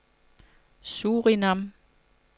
Surinam